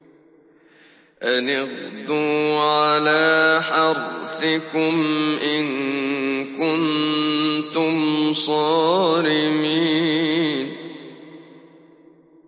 أَنِ اغْدُوا عَلَىٰ حَرْثِكُمْ إِن كُنتُمْ صَارِمِينَ